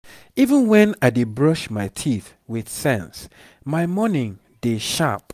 even when i dey brush my teeth with sense my morning dey sharp.